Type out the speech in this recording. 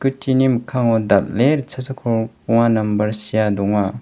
mikkango dal·e ritchasa kolgrikbonga nambar sea donga.